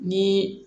Ni